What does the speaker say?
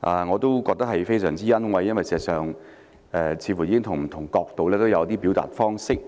感到非常欣慰，因為事實上他們似乎已從不同的角度表達一些意見。